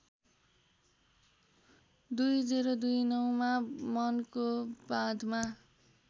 २०२९ मा मनको बाँधमा